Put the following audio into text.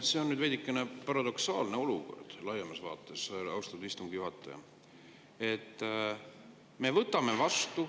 See on nüüd veidikene paradoksaalne olukord laiemas vaates, austatud istungi juhataja.